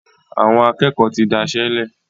Àwọn akékòó tí dáiṣélè.